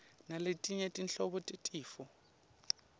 naletinye tinhlobo tetifo